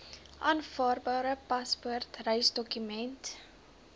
aanvaarbare paspoort reisdokument